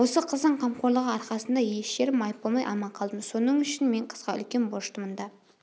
осы қыздың қамқорлығы арқасында еш жерім майып болмай аман қалдым соның үшін мен қызға үлкен борыштымын да